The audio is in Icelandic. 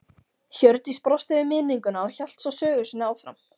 Hjördís brosti við minninguna og hélt svo sögu sinni áfram